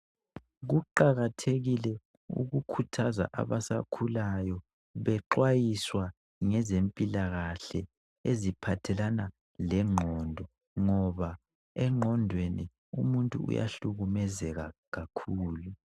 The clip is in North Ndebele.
Kuqakathekile ukukhuthaza abasakhulayo bexwayiswa ngezempilakahle eziphathelana lengqondo ngoba engqondweni umuntu uyahlukumezeka kakhulu.